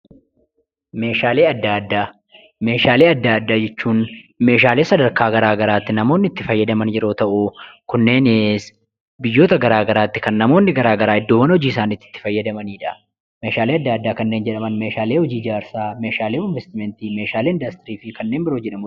Meeshaalee adda addaa jechuun meeshaalee sadarkaa garaa garaatti namoonni itti fayyadaman yeroo ta'u, kunneenis biyyoota garaa garaatti kan namoonni garaa garaa kan namoonni iddoo hojii isaaniitti itti fayyadamanidha. Meeshaalee adda addaa kanneen jedhaman: meeshaalee ijaarsaa, meeshaalee investimantii, meeshaalee industirii fi kanneen biroo maqaa dhahuu dandeenya.